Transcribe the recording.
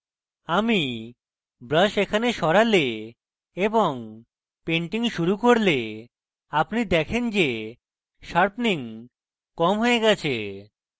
আমি brush এখানে সরালে এবং painting শুরু করলে আপনি দেখতে পারেন sharpening কম হয়ে গেছে